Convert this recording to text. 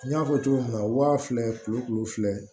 N y'a fɔ cogo min na waa fila kulu fila